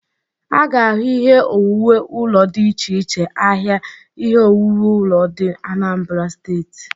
A ga-ahụ ihe owuwu ụlo dị ịche iche ahịa ihe owuwu ụlo dị Anambara Steeti.